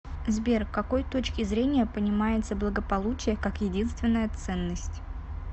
сбер к какой точки зрения понимается благополучие как единственная ценность